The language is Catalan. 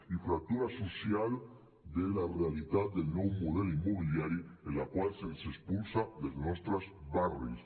i fractura social de la realitat del nou model immobiliari en la qual se’ns expulsa dels nostres barris